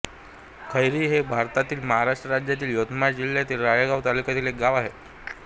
खैरी हे भारतातील महाराष्ट्र राज्यातील यवतमाळ जिल्ह्यातील राळेगांव तालुक्यातील एक गाव आहे